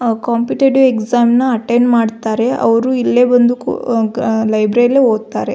ಆ competitive exam ನ attend ಮಾಡ್ತಾರೆ ಅವ್ರು ಇಲ್ಲೆ ಬಂದು ಅ ಕು ಅ ಲೈಬ್ರೆರಿಲೆ ಓದ್ತಾರೆ.